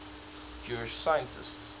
jewish scientists